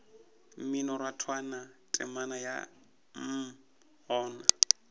mminorathwana temana ya mm gona